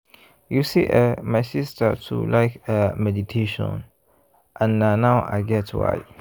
you see eh my sister too like ah meditation and na now i get why.